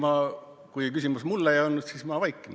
Ei, kui küsimus mulle ei olnud, siis ma vaikin.